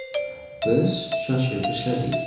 Biz shoshib ishladik.